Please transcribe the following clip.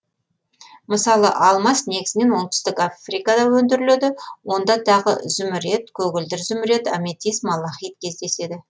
мысалы алмас негізінен оңтүстік африкада өндіріледі онда тағы зүмірет көгілдір зүмірет аметист малахит кездеседі